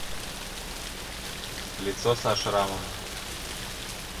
лицо со шрамом